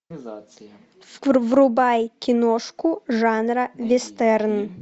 врубай киношку жанра вестерн